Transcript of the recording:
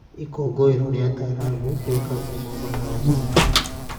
Ikũngũĩro rĩa Taarab rĩĩkagwo Mombasa o mwaka.